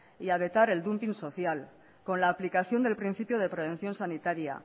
y a vetar el social con la aplicación del principio de prevención sanitaria